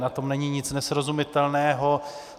Na tom není nic nesrozumitelného.